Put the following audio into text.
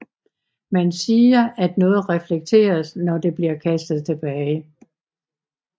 Man siger at noget reflekteres når det bliver kastet tilbage